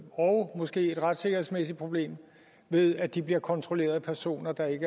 og måske et retssikkerhedsmæssigt problem ved at de bliver kontrolleret af personer der ikke